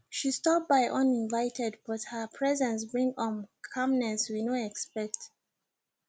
she stop by uninvited but her presence bring um calmness we no expect